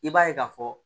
I b'a ye k'a fɔ